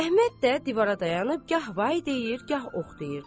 Əhməd də divara dayanıb gah vay deyir, gah ox deyirdi.